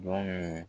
Don min